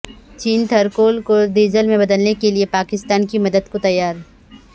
چین Thar coal کو diesel میں بدلنے کیلئے بھی پاکستان کی مدد کو تیار